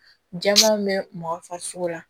Jama bɛ mɔgɔ farisogo la